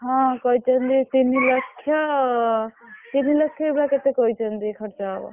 ହଁ କହିଛନ୍ତି ତିନି ଲକ୍ଷ ତିନିଲକ୍ଷ ଏଇଭଳିଆ କେତେ କହିଛନ୍ତି ଖର୍ଚ୍ଚ ହବ।